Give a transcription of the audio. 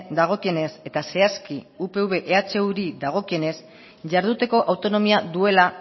dagokienez eta zehazki upv ehuri dagokionez jarduteko autonomia duela